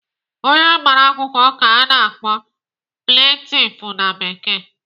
Onye gbara akwụkwọ ka a na-akpọ "plaintiff" na Bekee.